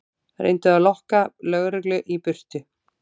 Reyndi að lokka lögreglu í burtu